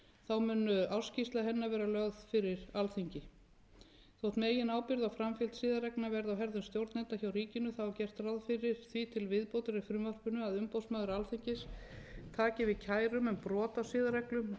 þá mun ársskýrsla hennar vera lögð fyrir alþingi þótt meginábyrgð á framfylgd siðareglna verði á herðum stjórnenda hjá ríkinu þá er gert ráð fyrir því við viðbótar í frumvarpinu að umboðsmaður alþingis taki við kærum um brot á siðareglum og gefi álit samanber aðra og þriðju greinar